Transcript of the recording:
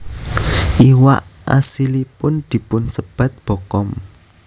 Iwak asilipun dipunsebat bokkom